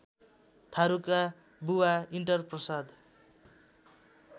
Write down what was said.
थारुका बुबा इन्टरप्रसाद